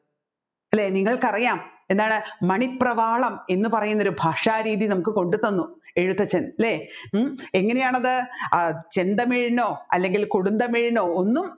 അല്ലെ നിങ്ങൾക്കറിയാം എന്താണ് മണിപ്രവാളം എന്ന് പറയുന്നൊരു ഭാഷാരീതി നമ്മുക്ക് കൊണ്ടുതന്നു എഴുത്തച്ഛൻ അല്ലെ ഉം എങ്ങനെയാണ് അത് ചെണ്ടമേയനോ അല്ലെങ്കിൽ കൊടുന്തമേയനോ ഒന്നും